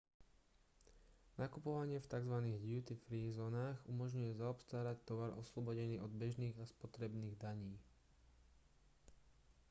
nakupovanie v tzv duty free zónach umožňuje zaobstarať tovar oslobodený od bežných a spotrebných daní